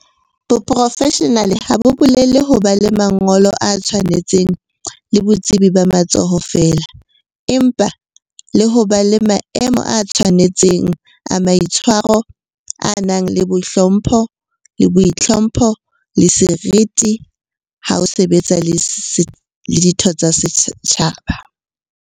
Boprofeshenale ha bo bolele ho ba le mangolo a tshwanetseng le botsebi ba matsoho feela, empa le ho ba le maemo a tshwane tseng a maitshwaro a nang le hlompho, boitlhompho, le seriti ha o sebetsa le ditho tsa setjhaba.